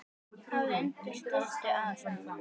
Hafður undir styttu sá.